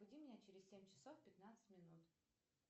разбуди меня через семь часов пятнадцать минут